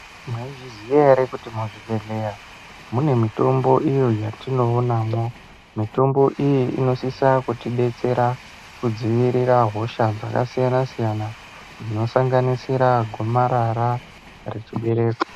Mwai zviziya ere kuti muzvi bhedhlera mune mitombo iyo yatinoonamwo mitombo iyi inosisa kutidetsera kudzivirira hosha dzakasiyana siyana dzino sanganisira gumarara rechibereko.